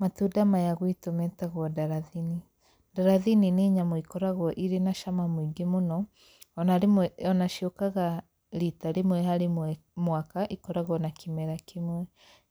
Matunda maya gwitũ metagwo ndarathini. Ndarathini nĩ nyamũ ikoragwo irĩ na cama mũingĩ mũno, ona rĩmwe ona ciũkaga riita rĩmwe harĩ mwaka ikoragwo na kĩmera kĩmwe.